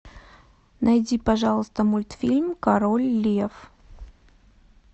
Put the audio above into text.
найди пожалуйста мультфильм король лев